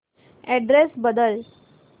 address बदल